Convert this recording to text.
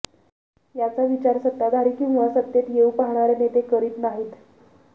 याचा विचार सत्ताधारी किंवा सत्तेत येऊ पाहणारे नेते करीत नाहीत